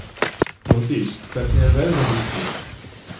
Jódís, hvernig er veðrið úti?